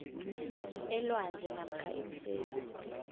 elwandle namkha iimfesi